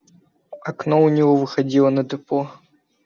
окно у него выходило на депо